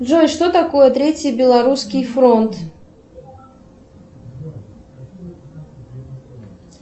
джой что такое третий белорусский фронт